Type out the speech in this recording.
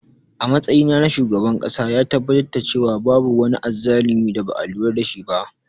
A matsayinsa na shugaban ƙasa, ya tabbatar da cewa babu wani azzalumi da ba a lura da shi ba.